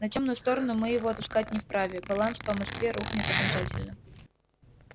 на тёмную сторону мы его отпускать не вправе баланс по москве рухнет окончательно